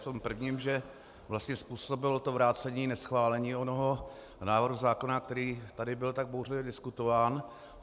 V tom prvním, že vlastně způsobilo to vrácení neschválení onoho návrhu zákona, který tady byl tak bouřlivě diskutován.